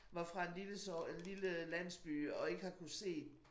Var fra en lille lille landsby og ikke har kunnet se